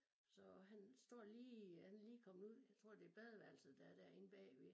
Så han står lige øh han er lige kommet ud jeg tror det badeværelset der er derinde bagved